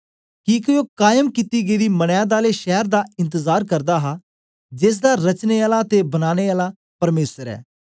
किके ओ कैम कित्ती गेदी मनैद आले शैर दा इंतजार करदा हा जेसदा रचने आला ते बनाने आला परमेसर ऐ